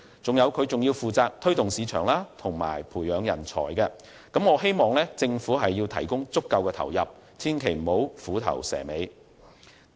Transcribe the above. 此外，金發局亦負責推動市場和培養人才，所以我希望政府提供足夠的投入，不要虎頭蛇尾。